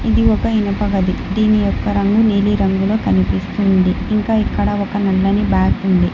ఇది ఒక ఇనుప గది దీని యొక్క రంగు నీలిరంగులో కనిపిస్తుంది ఇంకా ఇక్కడ ఒక నల్లని బ్యాగు ఉంది.